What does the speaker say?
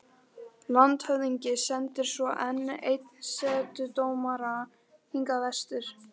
Landshöfðingi sendir svo enn einn setudómara hingað vestur.